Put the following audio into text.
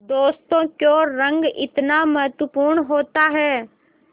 दोस्तों क्यों रंग इतना महत्वपूर्ण होता है